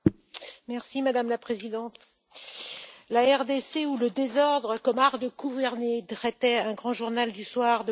Madame la Présidente, La RDC, ou le désordre comme art de gouverner titrait un grand journal du soir de mon pays.